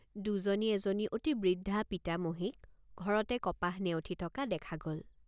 দুজনী এজনী অতি বৃদ্ধা পিতামহীক ঘৰতে কপাহ নেওঠি থকা দেখা গল।